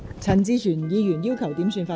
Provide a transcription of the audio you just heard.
陳志全議員要求點算法定人數。